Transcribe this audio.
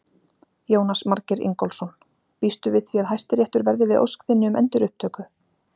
Jónas Margeir Ingólfsson: Býstu við því að Hæstiréttur verði við ósk þinni um endurupptöku?